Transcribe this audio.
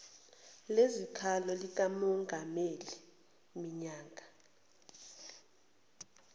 lezikhalo likamengameli minyaka